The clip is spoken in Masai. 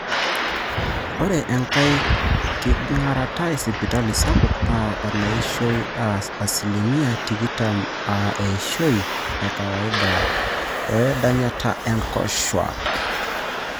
ore enkai kiragata esipitali sapuk naa eneishoi aa asilimia tikitam aa eishoi ekawaida oedanyata oonkoshuuaak